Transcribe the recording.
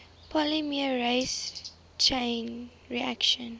polymerase chain reaction